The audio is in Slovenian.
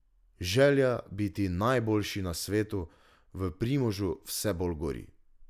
Želja biti najboljši na svetu v Primožu vse bolj gori.